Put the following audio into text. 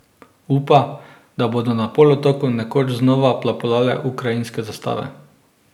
Upa, da bodo na polotoku nekoč znova plapolale ukrajinske zastave.